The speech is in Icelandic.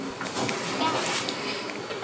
Ég get ekki betur.